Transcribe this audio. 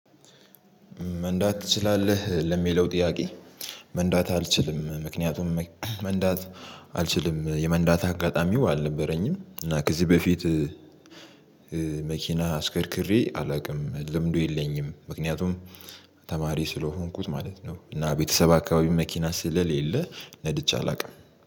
መንዳት ትችላለህ ለሚለው ጥያቄ? መንዳት አልችልም ምክንያቱም መንዳት አልችልም የመንዳት አጋጣሚው አልነበረኝም እና ከዚህ በፊት መኪና አሽከርክሬ አላውቅም ልምዱ የለኝም። ምክንያቱም ተማሪ ስለሆንኩኝ ማለት ነው። እና ቤተሰብ አካባቢ መኪና ስለሌለ ነድቼ አላውቅም።